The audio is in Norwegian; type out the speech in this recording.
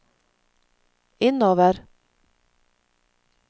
innover